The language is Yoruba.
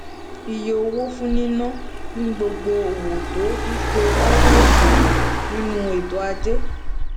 iye owó fún níná ni gbogbo owó tó yípo láọwọ ṣowo nínú ètò ajé